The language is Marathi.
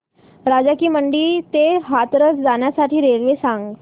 राजा की मंडी ते हाथरस जाण्यासाठी रेल्वे सांग